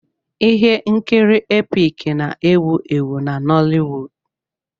Ihe nkiri Epic na-ewu ewu na Noliwud.